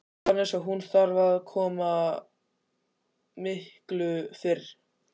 Jóhannes: Og hún þarf að koma miklu fyrr?